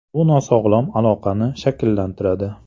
Bu nosog‘lom aloqani shakllantiradi.